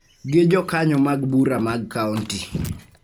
gi Jokanyo mag Bura mag Kaonti